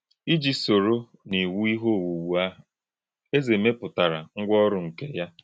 Íjì̄ sò̄ró̄ n’ìwù̄ íhè̄ òwù̄wù̄ àhụ̄, Èzè̄ mè̄pùtárà̄ ngwá̄ ọ̀rụ̀ nké yá.